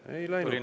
Ei läinud pikaks.